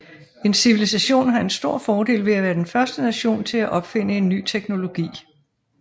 En civilisation har en stor fordel ved at være den første nation til at opfinde en ny teknologi